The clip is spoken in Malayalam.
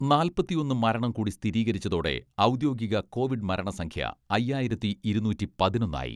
നാല്പത്തിയൊന്ന് മരണം കൂടി സ്ഥിരീകരിച്ചതോടെ ഔദ്യോഗിക കോവിഡ് മരണ സംഖ്യ അയ്യായിരത്തി ഇരുന്നൂറ്റി പതിനൊന്ന് ആയി.